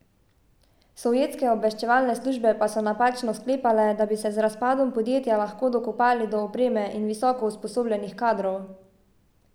Sovjetske obveščevalne službe pa so napačno sklepale, da bi se z razpadom podjetja lahko dokopali do opreme in visoko usposobljenih kadrov.